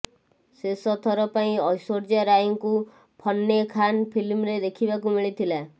ଶେଷ ଥର ପାଇଁ ଐଶ୍ବର୍ଯ୍ୟା ରାୟଙ୍କୁ ଫନ୍ନେ ଖାନ ଫିଲ୍ମରେ ଦେଖିବାକୁ ମିଳିଥିଲା